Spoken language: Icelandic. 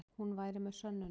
Hún væri með sönnunargögn.